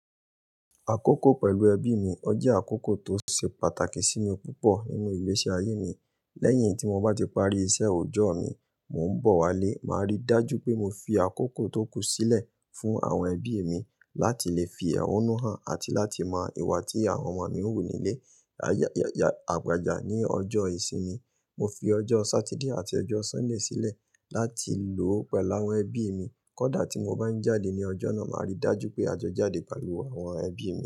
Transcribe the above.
Àkókò pẹ̀lú ẹbí mi ọ jẹ́ àkókò tó ṣe pàtàkì sí mi púpọ̀ nínú ìgbésí ayé mi. Lẹ́yìn tí mo bá ti parí iṣẹ́ òòjọ́ mi, mò ń bọ̀ wálé, màá rí dájú pé mo fi àkókò tó kù sílẹ̀ fún àwọn ẹbí mi láti lè fi ọ́nú hàn àti láti mọ ìwà tí àwọn ọmọ mi ń wù nílé. Àyà, àyà, àgbejà ní ọjọ́ ìsinmi. Mo fi ọjọ́ Sátidé àti ọjọ́ Sọ́ńdè sílẹ̀ láti lò pẹ̀lú àwọn ẹbí mi. Kódà tí mo bá ń jáde ní ọjọ́ náà, màá rí dájú pé a jọ jáde pẹ̀lú àwọn ẹbí.